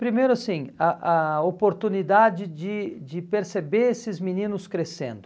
Primeiro, assim a a oportunidade de de perceber esses meninos crescendo.